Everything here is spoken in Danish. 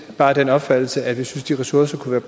bare af den opfattelse at vi synes de ressourcer kunne